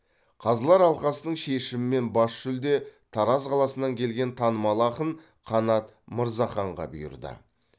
қазылар алқасының шешімімен бас жүлде тараз қаласынан келген танымал ақын қанат мырзаханға бұйырды